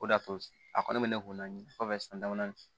O de y'a to a kɔni bɛ ne kun na kɔfɛ san damadɔnin